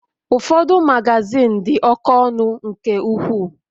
Ụfọdụ Magazin di oké ọnụ nke ukwuu